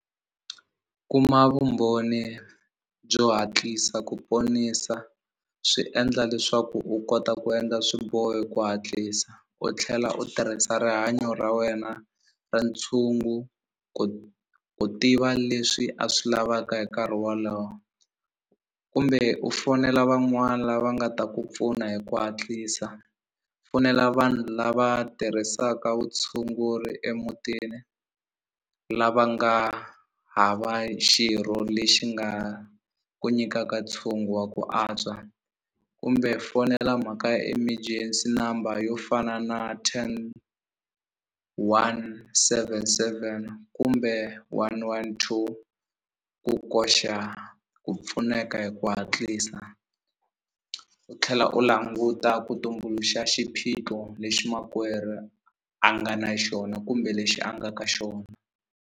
Kuma vumbhoni byo hatlisa ku ponisa swi endla leswaku u kota ku endla swiboho hi ku hatlisa u tlhela u tirhisa rihanyo ra wena ra ntshungu ku ku tiva leswi a swi lavaka hi nkarhi walowo kumbe u fonela van'wani lava nga ta ku pfuna hi ku hatlisa fonela vanhu lava tirhisaka vutshunguri emutini lava nga hava xirho lexi nga ku nyikaka ntshungu wa ku antswa kumbe fonela mhaka ya emergency number yo fana na ten one seven seven kumbe one one two ku koxa ku pfuneka hi ku hatlisa u tlhela u languta ku tumbuluxa xiphiqo lexi makwerhu a nga na xona kumbe lexi a nga ka xona.